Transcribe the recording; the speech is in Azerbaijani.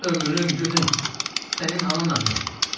Ömrüm, günüm, sənin ananam mən.